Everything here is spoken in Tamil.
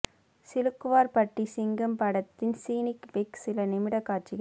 சிலுக்குவார் பட்டி சிங்கம் படத்தின் ஸ்னீக் பீக் சில நிமிட காட்சிகள்